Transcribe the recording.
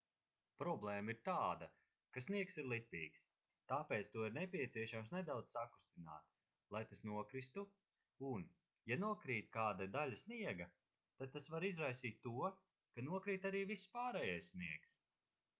problēma ir tāda ka sniegs ir lipīgs tāpēc to ir nepieciešams nedaudz sakustināt lai tas nokristu un ja nokrīt kāda daļa sniega tad tas var izraisīt to ka nokrīt arī viss pārējais sniegs